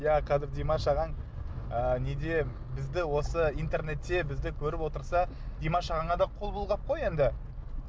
иә қазір димаш ағаң ы неде бізді осы интернетте бізді көріп отырса димаш ағаңа да қол бұлғап қой енді